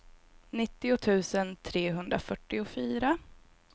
nittio tusen trehundrafyrtiofyra